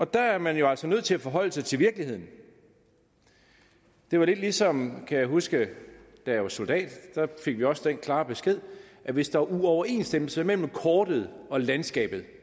der er man jo altså nødt til at forholde sig til virkeligheden det var lidt ligesom kan jeg huske da jeg var soldat da fik vi også den klare besked hvis der var uoverensstemmelse mellem kortet og landskabet